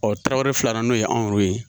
Tarawele filanan n'o ye anw ye